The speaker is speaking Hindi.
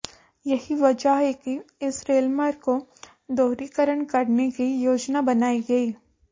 यही वजह है कि इस रेलमार्ग को दोहरीकरण करने की योजना बनाई गई